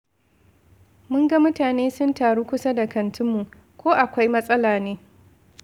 Mun ga mutane sun taru kusa da kantinmu. Ko akwai matsala ne?